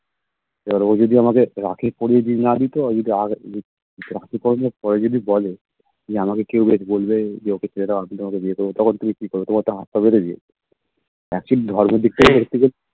এবার ও যদি আমাকে রাখি পরিয়ে যদি না দিত ও যদি আগে রাখি পরানোর পরে যদি বলে যে আমাকে কেউ যদি বলবে যে ওকে ছেড়ে দাও আমি কিন্তু তোমাকে বিয়ে করবো তখন তুমি কি করবে তোমার তো হাত পা বেঁধে দিয়েছে Actually ধর্মের দিক দিয়ে